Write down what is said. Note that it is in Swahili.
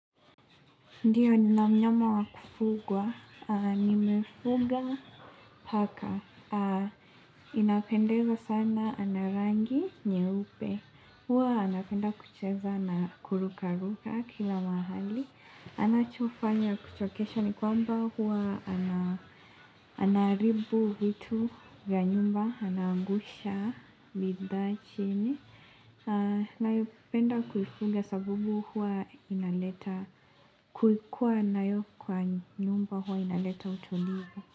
Ndiyo nina mnyama wa kufugwa, nimefuga paka, inapendeza sana ana rangi nyeupe, huwa anapenda kucheza na kurukaruka kila mahali, anachofanya wa kuchokesho ni kwamba huwa anaharibu vitu vya nyumba, anaangusha bidhaa chini. Ninayopenda kuifuga sababu huwa inaleta kuikua nayo kwa nyumba huwa inaleta utulivu.